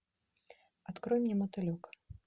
открой мне мотылек